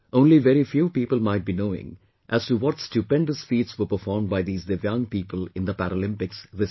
Only very few people might be knowing as to what stupendous feats were performed by these DIVYANG people in the Paralympics this time